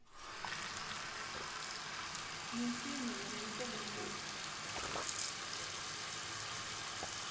minsinya yona yi tele ngopfu